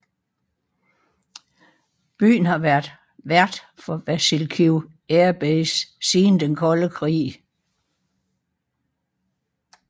Byen har været vært for Vasylkiv Air Base siden Den kolde krig